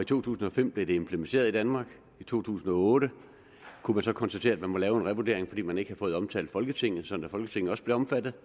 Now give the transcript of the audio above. to tusind og fem blev det implementeret i danmark i to tusind og otte kunne man så konstatere at man måtte lave en revurdering fordi man ikke havde fået omtalt folketinget sådan at folketinget også blev omfattet